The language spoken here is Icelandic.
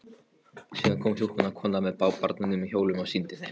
Síðan kom hjúkrunarkonan með barnarúm á hjólum og sýndi þeim.